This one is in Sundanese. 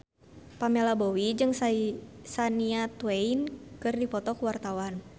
Pamela Bowie jeung Shania Twain keur dipoto ku wartawan